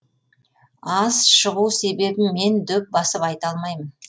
аз шығу себебін мен дөп басып айта алмаймын